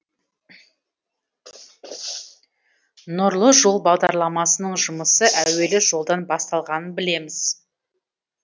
нұрлы жол бағдарламасының жұмысы әуелі жолдан басталғанын білеміз